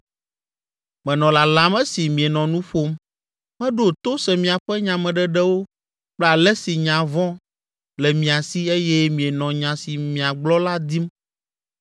Menɔ lalam esi mienɔ nu ƒom, meɖo to se miaƒe nyameɖeɖewo kple ale si nya vɔ le mia si eye mienɔ nya si miagblɔ la dim.